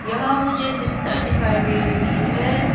यहां मुझे बिस्तर दिखाई दे रही है।